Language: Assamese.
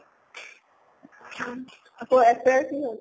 আকৌ ঐচৰিয়াৰ কি হʼল?